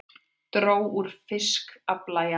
Dró úr fiskafla í apríl